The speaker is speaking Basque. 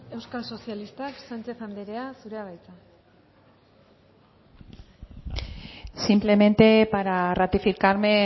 euskal sozialistak sánchez anderea zurea da hitza simplemente para ratificarme